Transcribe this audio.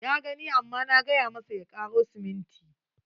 Ya gani amma na gay amasa ya karo siminti.